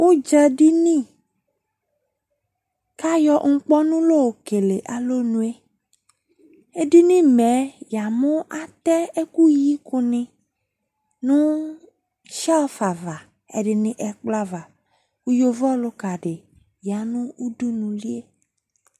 Udza dini kayɔ nkpɔnu la okele alɔnueEdini mɛ yamo atɛ ɛku yi ko ne no shelve ava, ɛde ne ɛkplɔ aava ko yavo ɔluka de ya no udunulie